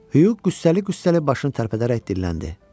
Huy qüssəli-qüssəli başını tərpədərək dilləndi.